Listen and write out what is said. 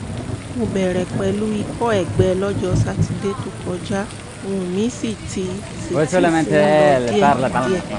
mo bẹ̀rẹ̀ pẹ̀lú ikọ́ ẹ̀gbẹ lọ́jọ́ sátidé tó kọjá ohùn mi sì ti sì ti ń lọ díẹ̀díẹ̀